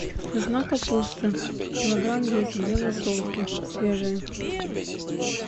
нужна капуста килограмм десять для засолки свежая